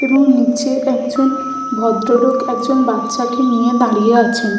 এবং নিচে একজন ভদ্রলোক একজন বাচ্চা কে নিয়ে দাঁড়িয়ে আছেন ।